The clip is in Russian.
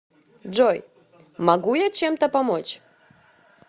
джой могу я чем то помочь